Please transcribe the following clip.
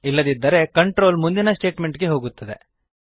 ಇಲದಿದ್ದರೆ control ಮುಂದಿನ statement ಗೆ ಹೋಗುತ್ತದೆ